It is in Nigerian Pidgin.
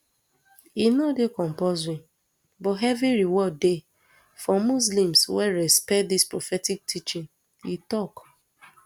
e no dey compulsory but heavy reward dey for muslims wey respect dis prophetic teaching e tok